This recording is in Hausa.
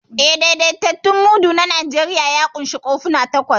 Eh, daidaitaccen mudu na Najeriya ya ƙunshi kofuna takwas.